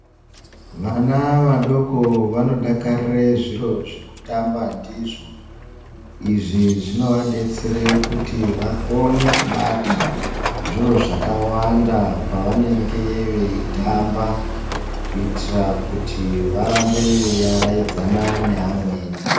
Vana vadoko vanodakarira zviro zvekutamba ndizvo izvi zvinovadetsera kuti vakone zviro zvakawanda pavanenge vei tamba kuitira kuti varambe veivaraidzana nevamweni.